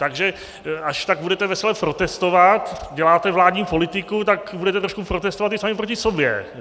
Takže až tak budete vesele protestovat - děláte vládní politiku, tak budete trošku protestovat i sami proti sobě.